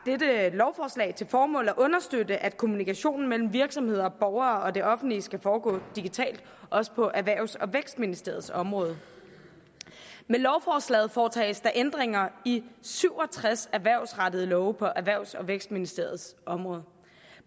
lovforslag til formål at understøtte at kommunikationen mellem virksomheder og borgere og det offentlige skal foregå digitalt også på erhvervs og vækstministeriets område med lovforslaget foretages ændringer i syv og tres erhvervsrettede love på erhvervs og vækstministeriets område